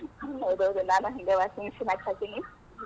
ಹೌಹೌದ್ ನಾನು ಹಂಗಾ washing machine start ಹಾಕೆನಿ.